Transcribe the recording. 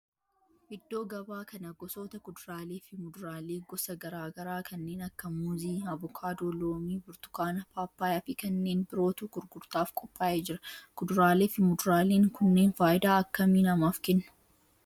Iddoo gabaa kana gosoota kuduraalee fi muduraalee gosa garaa garaa kanneen akka muuzii, avokaadoo, loomii, burtukaana, paappayyaa fi kanneen birootu gurgurtaaf qopaa'ee jira. kuduraalee fi muduraaleen kunneen faayidaa akkamii namaaf kennu?